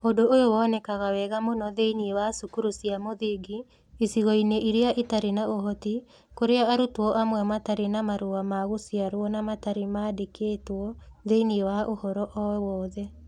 Ũndũ ũyũ nĩ wonekaga wega mũno thĩinĩ wa cukuru cia mũthingi icigo-inĩ iria itarĩ na ũhoti, kũrĩa arutwo amwe matarĩ na marũa ma gũciarwo na matarĩ maandĩkĩtwo thĩinĩ wa ũhoro o yothe.